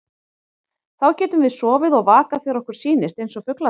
Þá getum við sofið og vakað þegar okkur sýnist, eins og fuglarnir.